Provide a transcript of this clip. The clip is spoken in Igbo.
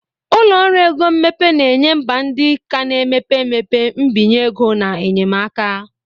Ụlọ ọrụ ego mmepe na-enye mba ndị ka na-emepe emepe mbinye ego na enyemaka.